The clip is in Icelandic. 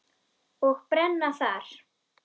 Og brenna þar.